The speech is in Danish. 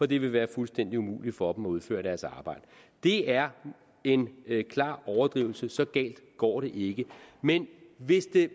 det vil være fuldstændig umuligt for dem at udføre deres arbejde det er en klar overdrivelse så galt går det ikke men hvis det